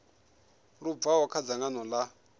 lu bvaho kha dzangano ḽa